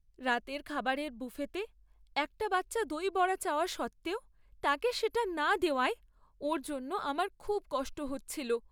রাতের খাবারের বুফেতে একটা বাচ্চা দই বড়া চাওয়া সত্ত্বেও তাকে সেটা না দেওয়ায় ওর জন্য আমার খুব কষ্ট হচ্ছিল।